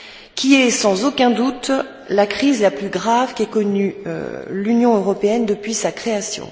qui est sans aucun doute la crise la plus grave qu'ait connue l'Union européenne depuis sa création.